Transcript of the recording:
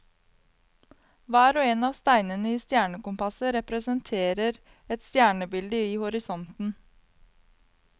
Hver og en av steinene i stjernekompasset representerer et stjernebilde i horisonten.